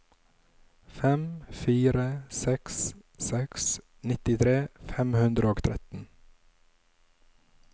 fem fire seks seks nittitre fem hundre og tretten